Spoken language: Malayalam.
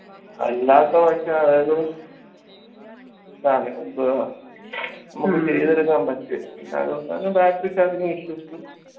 അല്ലാത്ത പക്ഷം അതായത് ൻറെ issues ഉം